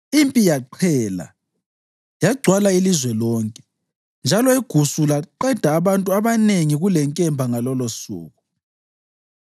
Impi yaqhela yagcwala ilizwe lonke, njalo igusu laqeda abantu abanengi kulenkemba ngalolosuku.